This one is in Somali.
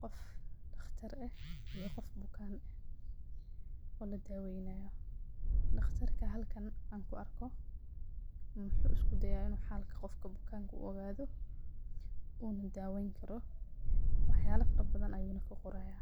qof dhaqtar eh iyo qof bukan oo la daaweynayo, dhaqtarka halkan anku arko muxu iskuda'aya inu xalka bukanka uu ogaado una daweeyn karo waxyala fara badan ayuna ka qoraaya